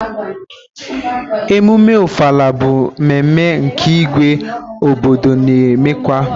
Emume Ọfala bụ mmemme nke Ígwé obodo na-emekwa.